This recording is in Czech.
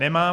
Nemá.